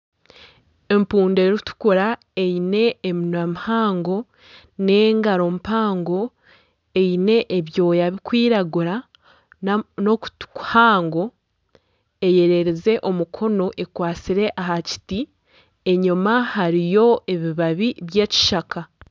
Empundu erikutukura eine eminwa mihango nana engaro mpango eine ebyooya birikwiragura nana okutu kuhaango eyererize omukono ekwatsire aha kiti enyuma hariyo ebibabi by'ekishaka.